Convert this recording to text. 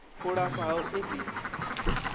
u lafha ha u edzisa